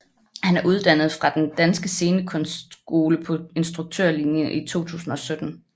Han er uddannet fra Den Danske Scenekunstskole på instruktørlinjen i 2017